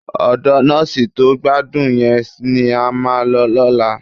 Ọ̀dọ nọ́ọ̀sì tó gbádùn yẹn ni a máa lọ lọ́la